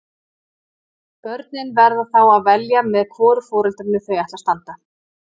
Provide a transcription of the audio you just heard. Börnin verða þá að velja með hvoru foreldrinu þau ætla að standa.